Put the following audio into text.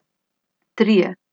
Trije.